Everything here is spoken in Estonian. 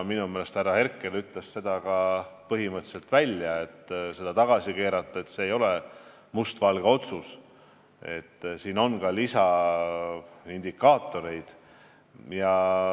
Minu meelest ütles härra Herkel põhimõtteliselt välja, et tagasikeeramine ei ole mustvalge otsus, siin on ka lisamõjusid.